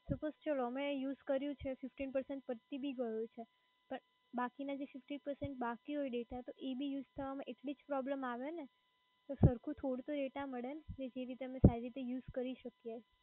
suppose ચાલો અમે જે આ use કર્યું છે FIFTY PERCENT પતિ પણ ગયું છે પણ બાકી ના જે FIFTY PERCENT બાકી હોંય DATA એ બી use કરવા માં એટલી જ problem આવે ને તો સરખું થોડું તો data મડે ન? જે અમે સારી રીતે use કરી શકી એ.